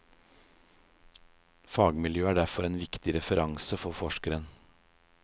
Fagmiljøet er derfor en viktig referanse for forskeren.